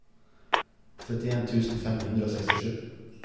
trettien tusen fem hundre og sekstisju